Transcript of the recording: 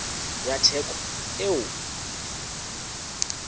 ya theko eo o e